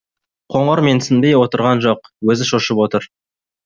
қоңыр менсінбей отырған жоқ өзі шошып отыр